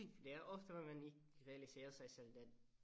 Det er ofte hvad man ikke realiserer sig selv den